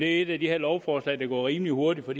er et af de lovforslag det går rimelig hurtigt med